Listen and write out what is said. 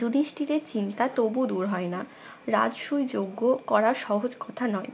যুধিষ্টিরের চিন্তা তবু দূর হয় না রাজসুই যজ্ঞ করা সহজ কথা নয়